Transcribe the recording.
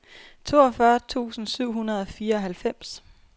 toogfyrre tusind syv hundrede og fireoghalvfems